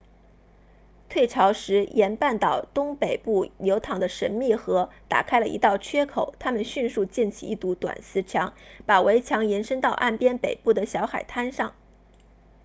退潮时沿半岛东北部流淌的神秘河打开了一道缺口他们迅速建起一堵短石墙把围墙延伸到岸边北端的小海滩上